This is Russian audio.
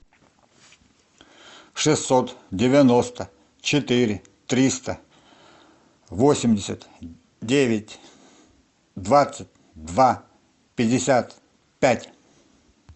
шестьсот девяносто четыре триста восемьдесят девять двадцать два пятьдесят пять